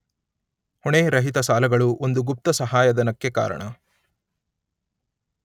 ಹೊಣೆ, ರಹಿತ ಸಾಲಗಳು ಒಂದು ಗುಪ್ತ ಸಹಾಯಧನಕ್ಕೆ ಕಾರಣ